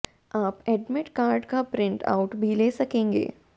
आप admit card का print out भी ले सकेंगे